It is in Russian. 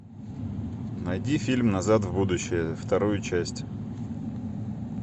найди фильм назад в будущее вторую часть